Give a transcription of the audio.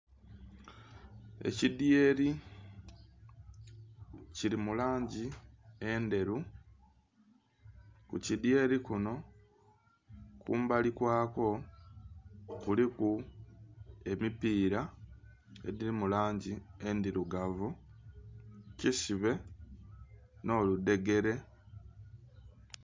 Ekidhyeri kiri mulangi endheru kukidhyeri kino kumbali kwakwo kuliku ebipira ebiri mulangi endhirugavu kisibe noludhegere.